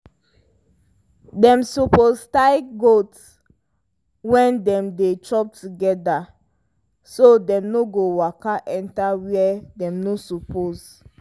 dem suppose tie goat when dem dey chop together so dem no go waka enter where dem no suppose.